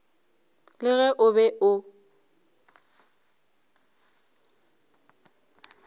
le ge o be o